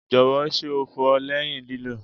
Jọwọ ṣe o fọ lẹhin lilo?